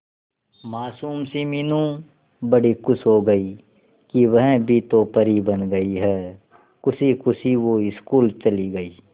मासूम सी मीनू बड़ी खुश हो गई कि वह भी तो परी बन गई है खुशी खुशी वो स्कूल चली गई